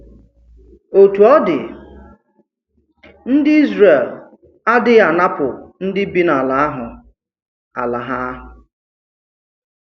Òtù ọ̀ dị, ndị Ízrel àdịghị ànapù ndị bi n’alà ahụ alà ha.